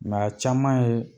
Nka caman ye